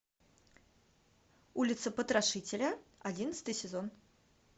улица потрошителя одиннадцатый сезон